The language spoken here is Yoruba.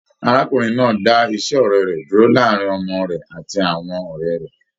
Arákùnrin náà dà ise ọrẹ dúró láàrin ọmọ rẹ àti àwọn ọrẹ rẹ.